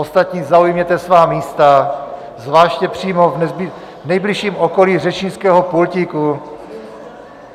Ostatní zaujměte svá místa, zvláště přímo v nejbližším okolí řečnického pultíku.